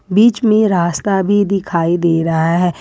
बीच में रास्ता भी दिखाई दे रहा है।